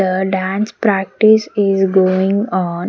The dance practice is going on.